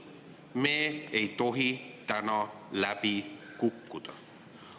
Me ei tohi täna läbi kukkuda.